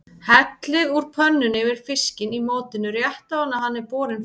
Hellið úr pönnunni yfir fiskinn í mótinu rétt áður en hann er borinn fram.